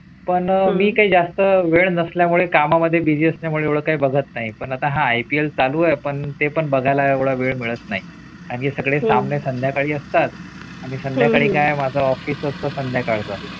पण मी काही जास्त वेळ नसल्या मुळे कामा मध्ये busy असल्यामुळे काही बघत नाही पण आता हा IPL चालू आहे पण ते पण बघायला एवढा वेळ मिळत नाही आणि सगळे सामने संध्याकाळी असतात आणि संध्याकाळी काय माझा office असतो संध्याकाळ